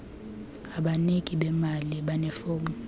abaniki bemali banefom